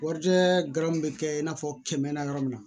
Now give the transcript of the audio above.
Warijɛ gaburew bɛ kɛ i n'a fɔ kɛmɛ na yɔrɔ min na